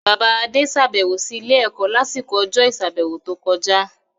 Bàbá Adé sàbẹ̀wò sí ilé-ẹ̀kọ́ lásìkò ọjọ́ ìsàbẹ̀wò tó kọjá.